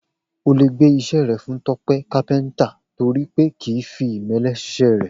O lè gbé is̩é̩ re̩ fún Tó̩pé̩ kápé̩ǹtà torí pé kì í fi ìmé̩lé̩ s̩is̩é̩ rè̩